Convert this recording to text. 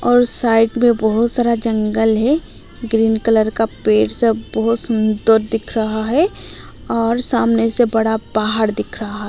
और साइड में बहोत सारा जंगल है ग्रीन कलर का पेड़ सब बहोत सुंदर दिख रहा है और सामने से बड़ा पहाड़ दिख रहा है।